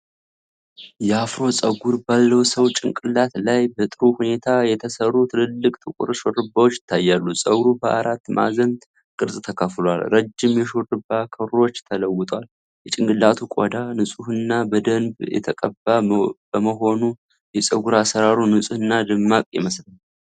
የአፍሮ ፀጉር ባለው ሰው ጭንቅላት ላይ በጥሩ ሁኔታ የተሠሩ ትላልቅ ጥቁር ሹሩባዎች ይታያሉ። ፀጉሩ በአራት ማዕዘን ቅርፅ ተከፍሏል፤ ረጅም የሹሩባ ክሮች ተለውጧል። የጭንቅላቱ ቆዳ ንጹህና በደንብ የተቀባ በመሆኑ የፀጉር አሠራሩ ንፁህና ደማቅ ይመስላል።